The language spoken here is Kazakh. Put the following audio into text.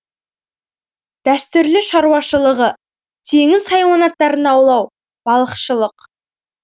дәстүрлі шаруашылығы теңіз хайуанаттарын аулау балықшылық